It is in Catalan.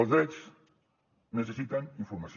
els drets necessiten informació